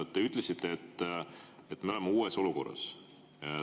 Te ütlesite, et me oleme uues olukorras.